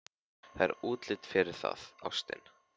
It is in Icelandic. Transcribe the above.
Það er útlit fyrir það, ástin.